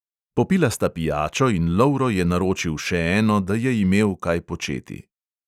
Popila sta pijačo in lovro je naročil še eno, da je imel kaj početi.